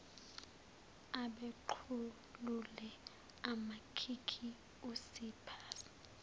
apequlule amakhikhi usiphaza